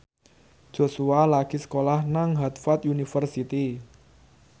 Joshua lagi sekolah nang Harvard university